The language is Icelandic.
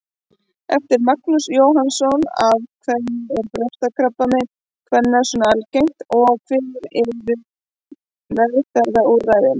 Eftir Magnús Jóhannsson Af hverju er brjóstakrabbamein kvenna svona algengt og hver eru meðferðarúrræðin?